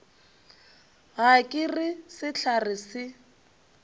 ga ke re sehlare se